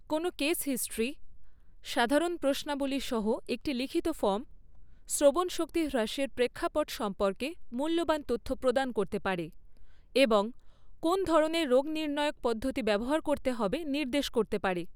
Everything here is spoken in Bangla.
কোনও কেস হিস্ট্রি, সাধারণ প্রশ্নাবলী সহ একটি লিখিত ফর্ম, শ্রবণশক্তি হ্রাসের প্রেক্ষাপট সম্পর্কে মূল্যবান তথ্য প্রদান করতে পারে এবং কোন ধরনের রোগনির্ণায়ক পদ্ধতি ব্যবহার করতে হবে নির্দেশ করতে পারে।